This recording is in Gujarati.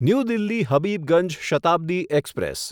new Delhi Habibganj Shatabdi express